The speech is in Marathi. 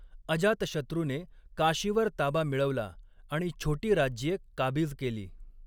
अजातशत्रूने काशीवर ताबा मिळवला आणि छोटी राज्ये काबीज केली.